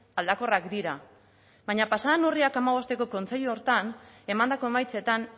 aldakorrak dira baina pasa den urriak hamabosteko kontseilu horretan emandako emaitzetan